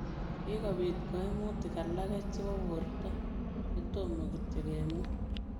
Kikopiit kaimutik alagee chepoo bortoo chetomoo kityo kemwaa